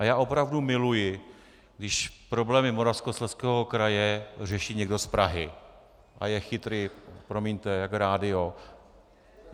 A já opravdu miluji, když problémy Moravskoslezského kraje řeší někdo z Prahy a je chytrý - promiňte - jak rádio.